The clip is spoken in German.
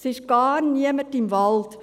Es ist gar niemand im Wald;